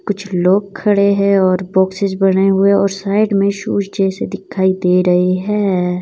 कुछ लोग खड़े हैं और बॉक्सेस बने हुए और साइड में शूज जैसे दिखाई दे रहे हैं।